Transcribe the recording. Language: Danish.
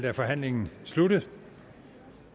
er forhandlingen sluttet og